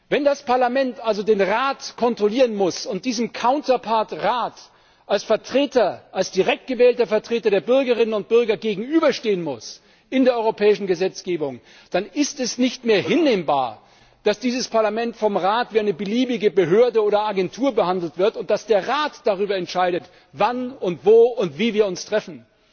Wenn das Parlament also den Rat kontrollieren muss und seinem Counterpart Rat als direkt gewählter Vertreter der Bürgerinnen und Bürger in der europäischen Gesetzgebung gegenüberstehen muss, dann ist es nicht mehr hinnehmbar, dass dieses Parlament vom Rat wie eine beliebige Behörde oder Agentur behandelt wird, und dass der Rat darüber entscheidet, wann und wo und wie wir uns treffen.